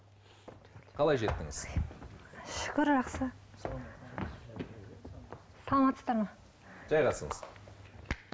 қалай жеттіңіз шүкір жақсы саламатсыздар ма жайғасыңыз